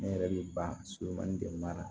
Ne yɛrɛ bɛ ban surumani de mara